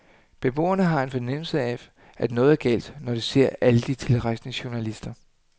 Beboerne har en fornemmelse af, at noget er galt, når de ser alle de tilrejsende journalister.